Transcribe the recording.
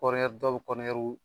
dɔw bɛ